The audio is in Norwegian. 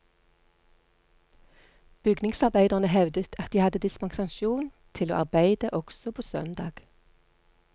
Bygningsarbeiderne hevdet at de hadde dispensasjon til å arbeide også på søndag.